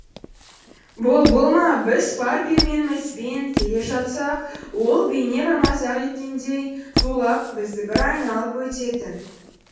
бұл бұл ма біз бар пәрменімізбен келе жатсақ ол бейне бір мазақ еткендей зулап бізді бір айналып өтетін